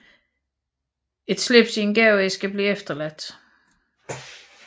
Et slips i en gaveæske blev efterladt